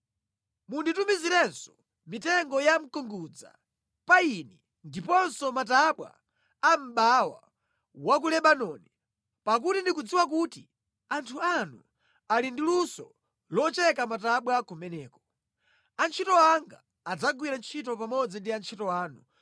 “Munditumizirenso mitengo ya mkungudza, payini ndiponso matabwa a mʼbawa wa ku Lebanoni, pakuti ndikudziwa kuti anthu anu ali ndi luso locheka matabwa kumeneko. Antchito anga adzagwira ntchito pamodzi ndi antchito anu